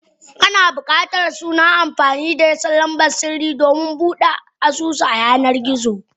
Kama bukatar sunan amfani da lamban sirri domin Bude asusu a yanar gizo.